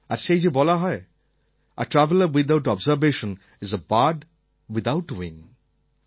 আর সেই যে বলা হয় a traveller without observation is a bird without wing